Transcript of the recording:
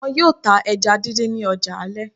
Wọn yóò tá ẹja díndín ní ọjà alẹ́